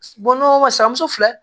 Bɔnɲɔgɔn ma suramuso filɛ